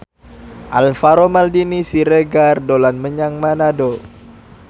Alvaro Maldini Siregar dolan menyang Manado